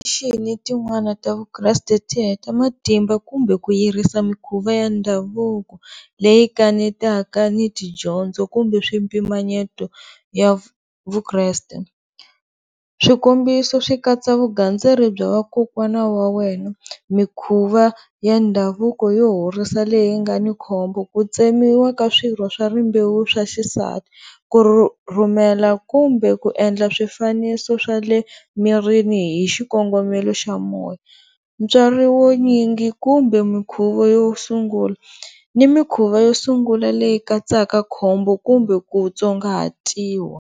tin'wana ta Vukreste ti heta matimba kumbe ku yirisa mikhuva ya ndhavuko leyi kanetaka ni tidyondzo kumbe swipimanyeto ya Vukreste. Swikombiso swikatsa vugandzeri bya vakokwana va wena, mikhuva ya ndhavuko yo horisa leyi nga ni khombo ku tsemiwa ka swirho swa rimbewu swa xisati. Ku rhumela kumbe ku endla swifaniso swa le mirini hi xikongomelo xa moya, ntswari wunyingi kumbe minkhuvo yo sungula ni mikhuva yo sungula leyi katsaka khombo kumbe ku tsongahatiwa.